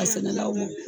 A sɛnɛlaw